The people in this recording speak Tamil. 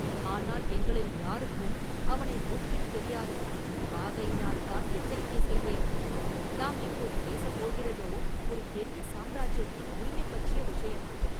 ஆனால் எங்களில் யாருக்கும் அவனை முன்பின் தெரியாது; ஆகையினால்தான் எச்சரிக்கை செய்தேன்.நாம் இப்போது பேசப் போகிறதோ, ஒரு பெரிய சாம்ராஜ்யத்தின் உரிமை பற்றிய விஷயம்.